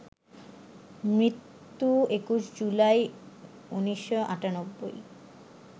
মৃত্যু ২১ জুলাই, ১৯৯৮